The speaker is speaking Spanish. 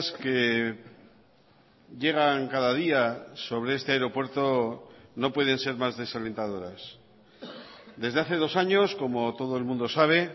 que llegan cada día sobre este aeropuerto no pueden ser más desalentadoras desde hace dos años como todo el mundo sabe